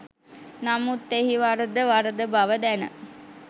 නමුත් එහි වරද වරද බව දැන